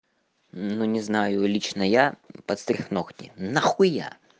ну не знаю лично я подстриг ногти нахуя